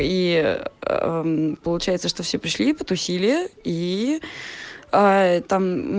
и получается что все пришли потусили и там